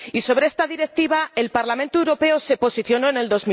Sobre esta Directiva, el Parlamento Europeo se posicionó en el